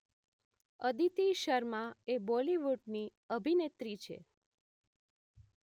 અદિતિ શર્મા એ બૉલિવૂડની અભિનેત્રી